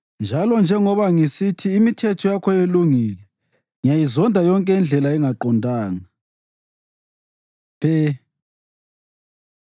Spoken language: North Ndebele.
njalo njengoba ngisithi imithetho yakho ilungile, ngiyayizonda yonke indlela engaqondanga. פ Pe